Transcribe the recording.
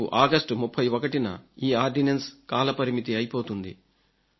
రేపు ఆగస్టు 31న ఈ ఆర్డినెన్స్ కాలపరిమితి అయిపోతుంది